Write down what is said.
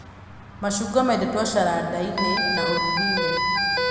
Macungwa mendetwo carandi-inĩ na ũrũgi-inĩ